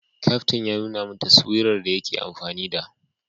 Kaftin ya nuna min taswira da yake amfani da